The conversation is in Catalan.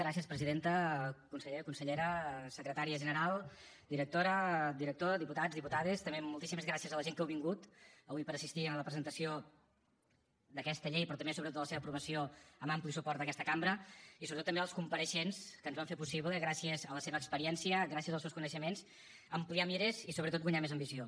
gràcies presidenta conseller consellera secretària general directora director diputats diputades també moltíssimes gràcies a la gent que heu vingut avui per a assistir a la presentació d’aquesta llei però també sobretot a la seva aprovació amb ampli suport d’aquesta cambra i sobretot també als compareixents que ens van fer possible gràcies a la seva experiència gràcies als seus coneixements ampliar mires i sobretot guanyar més ambició